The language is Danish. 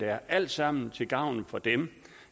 er alt sammen til gavn for dem